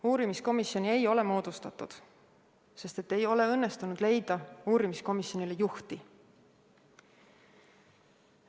Uurimiskomisjoni ei ole moodustatud, sest ei ole õnnestunud leida uurimiskomisjonile juhti.